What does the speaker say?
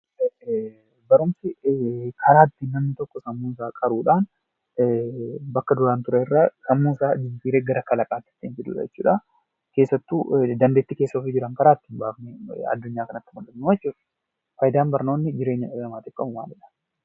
Barumsi karaa ittiin namni tokko sammuusaa qaruudhaan bakka duraan turerraa sammuusaa jijjiiree gara kalaqaatti ittiin fidudha jechuudha. Keessattuu dandeettii keessa ofii jiran jiran karaa ittiin baafnee addunyaa kanatti mul'ifnuu jechuudha. Faayidaan barnoonni jireenya dhala namaatif qabu maalidha?